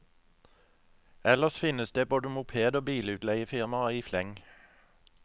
Ellers finnes det både moped og bilutleiefirmaer i fleng.